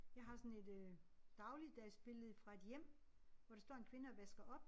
Jeg har sådan et øh dagligdagsbillede fra et hjem hvor der står en kvinde og vasker op